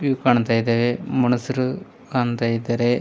View ಕಾಣ್ತಾ ಇದಾವೆ ಮನುಷ್ಯರು ಕಾಣ್ತಾ ಇದ್ದಾರೆ.